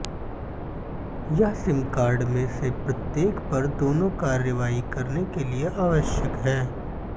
यह sim card में से प्रत्येक पर दोनों कार्रवाई करने के लिए आवश्यक है